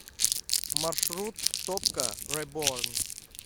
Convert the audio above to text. маршрут топка рэборн